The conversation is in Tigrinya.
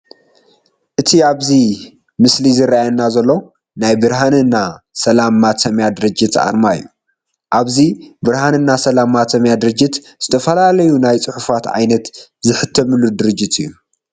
እቲ ኣብዚ ምስሊ ዝረኣየና ዘሎ ናይ ብርሃንና ሰላም ማተሚያ ድርጅት ኣርማ እዩ። ኣብዚ ብርሃንና ሰላም ማተሚያ ድርጅት ዝተፈላለዩ ናይ ፅሑፋት ዓይነት ዝሕተመሉ ድርጅት እዩ።